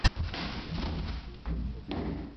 антишнапс лучшая часть